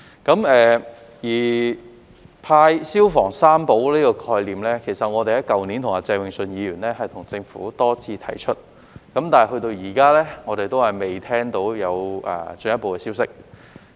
關於派"消防三寶"的概念，其實我們去年與鄭泳舜議員也曾多次向政府提出，但至今我們仍然未聽到有進一步消息。